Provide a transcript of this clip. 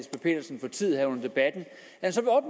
får tid her under debatten